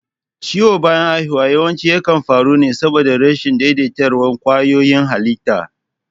Ciwon bayan haihuwa yawanci yakan faru ne saboda rashin daidaituwar ƙwayoyin halitta.